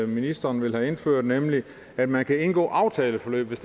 ministeren vil have indført nemlig at man kan indgå aftaleforløb hvis